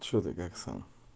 что ты как сам